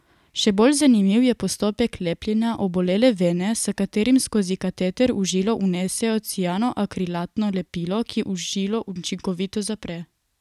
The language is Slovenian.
Še bolj zanimiv je postopek lepljenja obolele vene, s katerim skozi kateter v žilo vnesejo cianoakrilatno lepilo, ki žilo učinkovito zapre.